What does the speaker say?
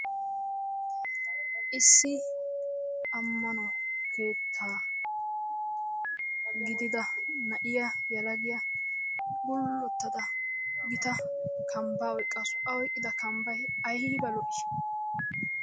Issi ammano keettaa gidida na7iya yelagiya gullottadavgita kambbaa ayqqaasu. A oyqqido kambbayivayiva lo7ii.